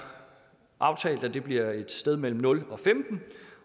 aftalt at det bliver et sted mellem nul